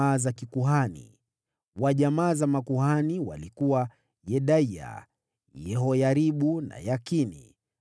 Wa jamaa za makuhani walikuwa: Yedaya, Yehoyaribu na Yakini;